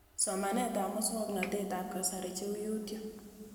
Somanet ab muswog'natet ab kasari cheu Youtube